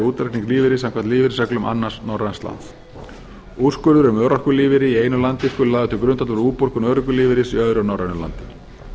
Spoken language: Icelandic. útreikning lífeyris samkvæmt lífeyrisreglum annars norræns lands úrskurður um örorkulífeyri í einu landi sá lagður til grundvallar við útborgun örorkulífeyris í öðru norrænu landi